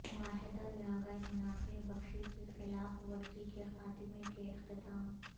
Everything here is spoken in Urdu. معاہدہ یا غیر منافع بخشی کی خلاف ورزی کے خاتمے کے اختتام